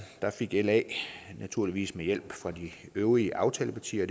fik la naturligvis med hjælp fra de øvrige aftalepartier